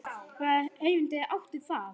Hvaða erindi átti það?